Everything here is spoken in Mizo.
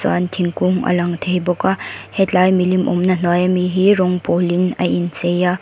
chuan thingkung a lang thei bawk a helai milim awmna hnuai a mi hi rawng pawlin a inchei a.